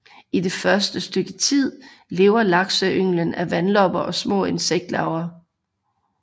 I det første stykke tid lever lakseynglen af vandlopper og små insektlarver